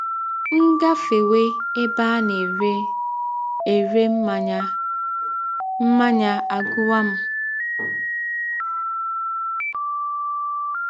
M gafewe ebe a na - ere ere mmanya, mmanya agụwa m.